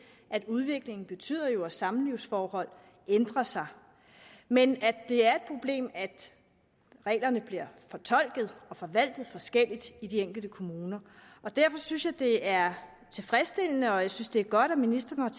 at udviklingen betyder at samlivsforhold ændrer sig men at det er et problem at reglerne bliver fortolket og forvaltet forskelligt i de enkelte kommuner derfor synes jeg at det er tilfredsstillende og jeg synes at det er godt at ministeren